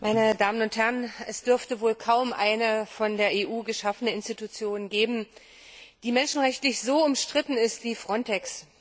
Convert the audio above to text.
Frau Präsidentin, meine Damen und Herren! Es dürfte wohl kaum eine von der EU geschaffene Institution geben, die menschenrechtlich so umstritten ist wie FRONTEX.